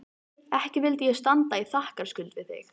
Ekki vildi ég standa í þakkarskuld við þig